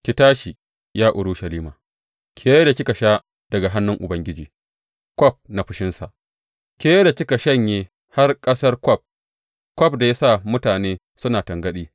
Ki tashi, ya Urushalima, ke da kika sha daga hannun Ubangiji kwaf na fushinsa, ke da kika shanye har ƙasar kwaf kwaf da ya sa mutane suna tangaɗi.